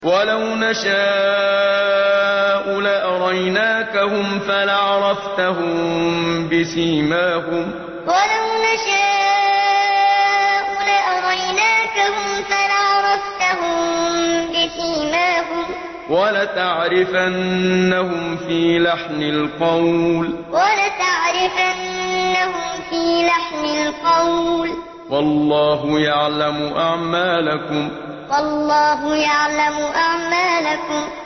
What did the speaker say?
وَلَوْ نَشَاءُ لَأَرَيْنَاكَهُمْ فَلَعَرَفْتَهُم بِسِيمَاهُمْ ۚ وَلَتَعْرِفَنَّهُمْ فِي لَحْنِ الْقَوْلِ ۚ وَاللَّهُ يَعْلَمُ أَعْمَالَكُمْ وَلَوْ نَشَاءُ لَأَرَيْنَاكَهُمْ فَلَعَرَفْتَهُم بِسِيمَاهُمْ ۚ وَلَتَعْرِفَنَّهُمْ فِي لَحْنِ الْقَوْلِ ۚ وَاللَّهُ يَعْلَمُ أَعْمَالَكُمْ